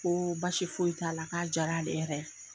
Ko baasi foyi t'a la k'a diyar'ale yɛrɛ ye.